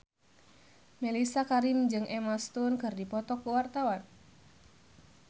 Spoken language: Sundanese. Mellisa Karim jeung Emma Stone keur dipoto ku wartawan